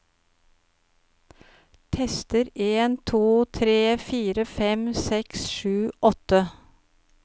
Tester en to tre fire fem seks sju åtte